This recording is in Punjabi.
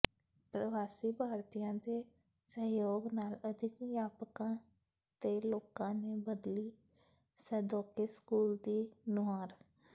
ਪ੍ਰਵਾਸੀ ਭਾਰਤੀਆਂ ਦੇ ਸਹਿਯੋਗ ਨਾਲ ਅਧਿਆਪਕਾਂ ਤੇ ਲੋਕਾਂ ਨੇ ਬਦਲੀ ਸੈਦੋਕੇ ਸਕੂਲ ਦੀ ਨੁਹਾਰ